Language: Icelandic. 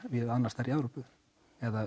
víða annars staðar í Evrópu eða